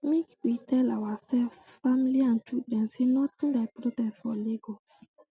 make we tell ourselves family and children say nothing like protest for lagos